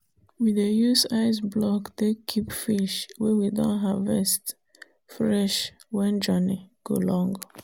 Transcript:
we dey use ice block take keep fish wey we don haervest fresh when journey go long.